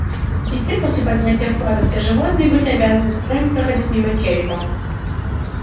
и теперь после поднятия флага все животные были обязаны строем проходить мимо черепа